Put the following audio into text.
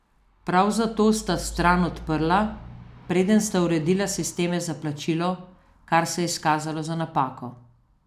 Prav zato sta stran odprla, preden sta uredila sisteme za plačilo, kar se je izkazalo za napako.